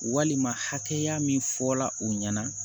Walima hakɛya min fɔra o ɲɛna